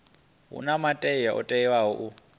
huna muthu o teaho u